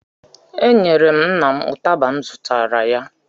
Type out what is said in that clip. Enyere m nna m ụtaba m zụtara ya